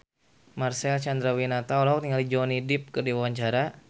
Marcel Chandrawinata olohok ningali Johnny Depp keur diwawancara